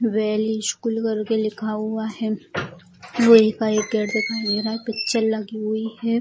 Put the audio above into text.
Well school करके लिखा हुआ है लोहा का एक गेट दिखाई दे रहा है पिक्चर लगी हुई है।